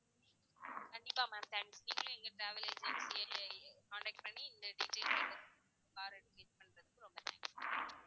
கண்டிப்பா ma'am contact பண்ணி